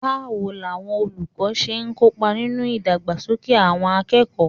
Báwo làwọn olùkọ́ ṣe ń kópa nínú ìdàgbàsókè àwọn akẹ́kọ̀ọ́?